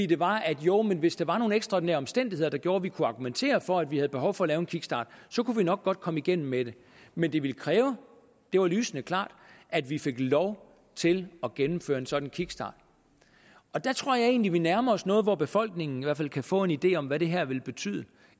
det var at joh men hvis der var nogle ekstraordinære omstændigheder der gjorde at vi kunne argumentere for at vi havde behov for at lave en kickstart så kunne vi nok godt komme igennem med det men det ville kræve det var lysende klart at vi fik lov til at gennemføre en sådan kickstart der tror jeg egentlig at vi nærmer os noget hvor befolkningen i hvert fald kan få en idé om hvad det her vil betyde